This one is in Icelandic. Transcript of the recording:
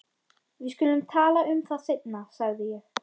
Við skulum tala um það seinna sagði ég.